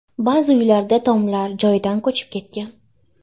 Ba’zi uylarda tomlar joyidan ko‘chib ketgan.